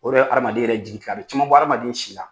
O yɛrɛ be hadamaden yɛrɛ jigi tikɛ. A be caman bɔ hadamaden si la.